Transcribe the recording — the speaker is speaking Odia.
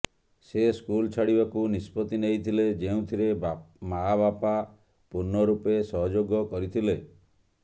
ସେ ସ୍କୁଲ ଛାଡ଼ିବାକୁ ନିଷ୍ପତ୍ତି ନେଇଥିଲେ ଯେଉଁଥିରେ ମାଆ ବାପା ପୂର୍ଣ୍ଣରୂପେ ସହଯୋଗ କରିଥିଲେ